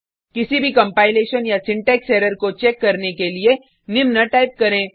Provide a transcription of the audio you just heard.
किसी भी कंपाइलेशन या सिंटेक्स एरर को चेक करने के लिए निम्न टाइप करें